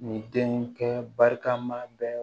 Nin denkɛ barikama bɛɛ